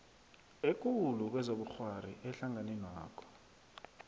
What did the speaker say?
ekulu kezobukghwari ehlanganwenakho